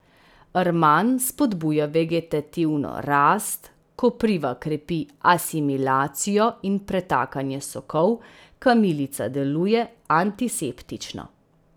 Rman spodbuja vegetativno rast, kopriva krepi asimilacijo in pretakanje sokov, kamilica deluje antiseptično.